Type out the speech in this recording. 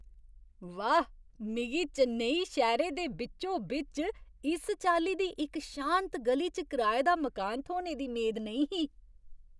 वाह्! मिगी चेन्नई शैह्‌रे दे बिच्चो बिच्च इस चाल्ली दी इक शांत ग'ली च कराए दा मकान थ्होने दी मेद नेईं ही।